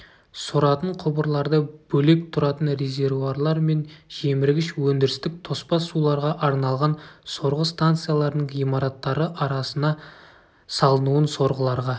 соратын құбырларды бөлек тұратын резервуарлар мен жеміргіш өндірістік тоспа суларға арналған сорғы станцияларының ғимараттары арасына салынуын сорғыларға